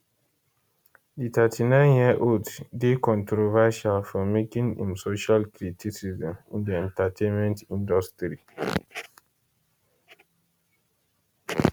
di 39yearold dey controversial for making im social criticism in di entertainment industry